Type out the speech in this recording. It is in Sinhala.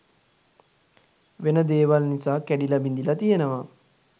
වෙන දේවල් නිසා කැඩිල බිඳිල තියෙනවා.